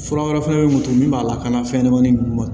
Fura wɛrɛ fɛnɛ bɛ mun to min b'a lakana fɛnɲanamanin ninnu ma